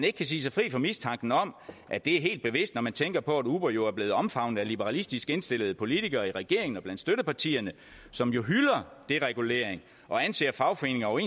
ikke sige sig fri for mistanken om at det er helt bevidst når man tænker på at uber jo er blevet omfavnet af liberalistisk indstillede politikere i regeringen og blandt støttepartierne som jo hylder deregulering og anser fagforeninger og